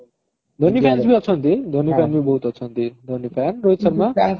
Dhoni fans ବି ଅଛନ୍ତି Dhoni fans ବି ବହୁତ ଅଛନ୍ତି ରୋହିତ ଶର୍ମା